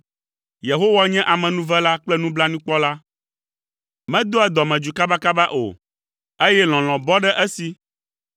Yehowa nye amenuvela kple nublanuikpɔla; medoa dɔmedzoe kabakaba o, eye lɔlɔ̃ bɔ ɖe esi.